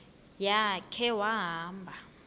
ya khe wahamba